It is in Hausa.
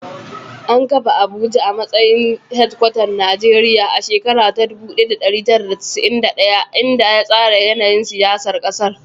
An kafa Abuja a matsayin hedkwatar Najeriya a shekarar 1991, inda ya tsara yanayin siyasar ƙasar.